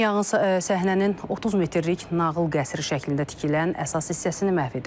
Yanğın səhnənin 30 metrlik nağıl qəsri şəklində tikilən əsas hissəsini məhv edib.